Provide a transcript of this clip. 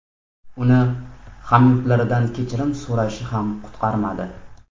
Uni hamyurtlaridan kechirim so‘rashi ham qutqarmadi.